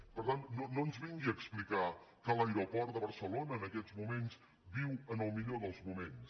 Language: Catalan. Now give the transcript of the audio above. i per tant no ens vingui a explicar que l’aeroport de barcelona en aquests moments viu en el millor dels moments